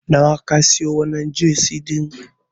Nawa ka siyo wannan Jasi din?